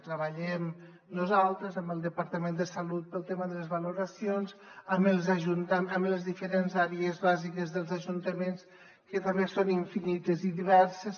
treballem nosaltres amb el departament de salut pel tema de les valoracions amb les diferents àrees bàsiques dels ajuntaments que també són infinites i diverses